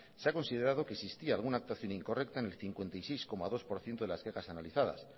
se ha considerado que existía alguna actuación incorrecta en el cincuenta y seis coma dos por ciento de las quejas analizadas